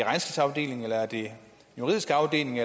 juridiske afdelingen